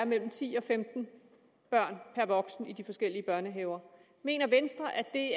mellem ti og femten børn per voksen i de forskellige børnehaver mener venstre at det